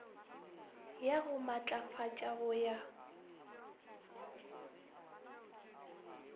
ya go maatlafatša go ya